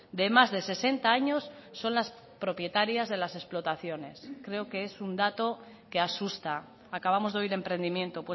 de más de sesenta años son las propietarias de las explotaciones creo que es un dato que asusta acabamos de oír emprendimiento